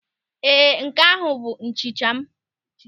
Ee, nke ahụ bụ nchicha m.